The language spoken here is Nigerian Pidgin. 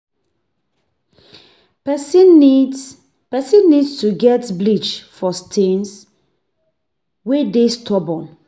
Person need Person need to get bleach for stains wey dey stubborn